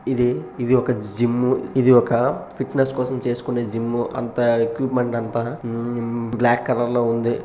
'' ఇది ఇది ఒక జిమ్ ఇది ఒక ఫిట్నెస్ కోసం చేసుకునే జిమ్ అంతా ఎక్విప్మెంట్ అంతా ఉమ్మ్ బ్లాక్ కలర్ లో ఉంది. ''